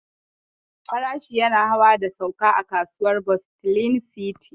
Farashi yana hawa da sauka a kasuwar bustling city.